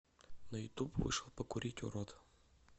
на ютуб вышел покурить урод